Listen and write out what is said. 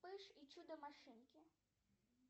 вспыш и чудо машинки